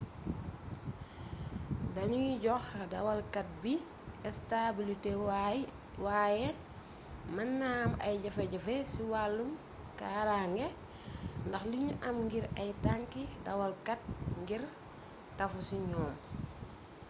dañuy jox dawalkat bi estabilité waaye mën naa am ay jafe-jafe ci wàllum kaarànge ndax liñu am ngir ay tanki dawalkat ngir tafu ci ñoom